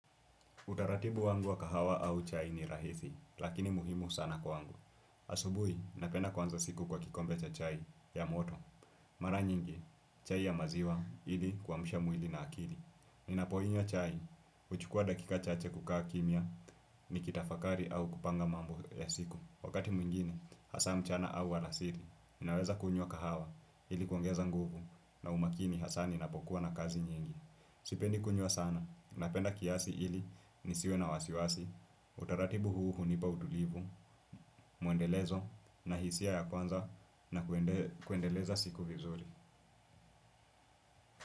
Utaratibu wangu wa kahawa au chai ni rahisi, lakini muhimu sana kwangu. Asubuhi, napenda kuanza siku kwa kikombe cha chai ya moto. Mara nyingi, chai ya maziwa ili kuamsha mwili na akili. Ninapoinywa chai, huchukua dakika chache kukaa kimya nikitafakari au kupanga mambo ya siku. Wakati mwingine, haswa mchana au alasiri. Ninaweza kunywa kahawa ili kuongeza nguvu na umakini haswa ninapokuwa na kazi nyingi. Sipendi kunywa sana, napenda kiasi ili nisiwe na wasiwasi. Utaratibu huu hunipa utulivu, muendelezo na hisia ya kuanza na kuendeleza siku vizuri.